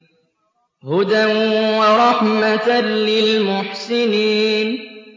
هُدًى وَرَحْمَةً لِّلْمُحْسِنِينَ